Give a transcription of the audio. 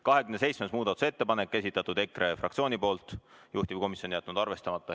27. muudatusettepaneku on esitanud EKRE fraktsioon, juhtivkomisjon on jätnud selle arvestamata.